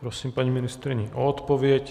Prosím paní ministryni o odpověď.